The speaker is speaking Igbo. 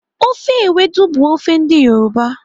Ofe ewedu bụ ofe ndị Yoruba.